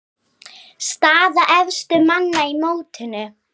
Staða efstu manna í mótinu